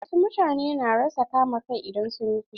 Wasu mutane na rasa kama kai idan sun yi fushi.